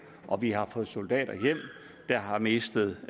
og vi har fået soldater hjem der har mistet